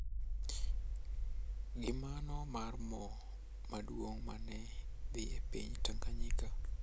Gi mano mar mo maduong` ma ne dhi e piny Tanganyika.